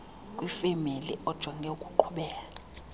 kwifemeli ojonge ukuqhubela